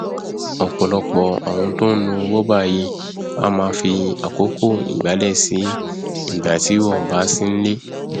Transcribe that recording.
ọpọlọpọ àwọn tó nlo roomba yìí a máa fi àkókò ìgbálẹ sí ìgbà tí wọn ò bá sí nlé